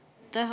Aitäh!